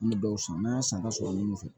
An bɛ dɔw san n'an y'a san ka sɔrɔ munnu fɛ